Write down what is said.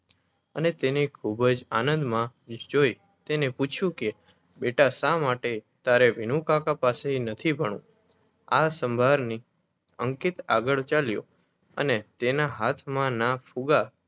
અને તેને ખુબ જ આંદમા જોઈ તેને પૂછ્યું કે બેટા શા માટે તારે વિનુકાકા પાસે નથી ભણવું આ સંભારની અંકિત આગળ ચાલ્યો અને તેના હાથમાં ના ફુગ્ગા